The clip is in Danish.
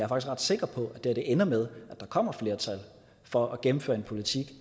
ret sikker på at det her ender med at der kommer et flertal for at gennemføre en politik